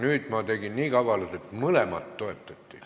Aga ma tegin nii kavalalt, et mõlemat toetati.